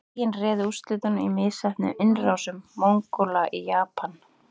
Boginn réði úrslitum í misheppnuðum innrásum Mongóla í Japan.